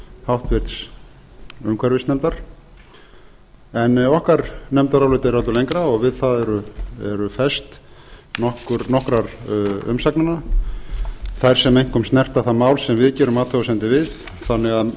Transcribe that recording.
háttvirtur umhverfisnefndar en okkar nefndarálit er öllu lengra og við það eru fest nokkrar umsagnanna þær sem einkum snerta það mál sem við gerum athugasemdir við þannig að